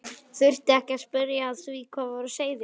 Þurfti ekki að spyrja að því hvað var á seyði.